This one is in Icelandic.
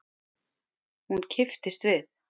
Hún kipptist við.